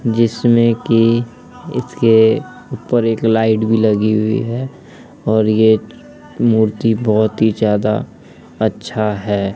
जिसमे की इसके ऊपर एक लाइट भी लगी हुई है और ये मूर्ति बहुत ही ज्यादा अच्छा है।